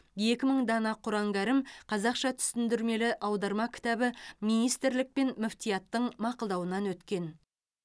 екі мың дана құран кәрім қазақша түсіндірмелі аударма кітабы министрлік пен мүфтияттың мақұлдауынан өткен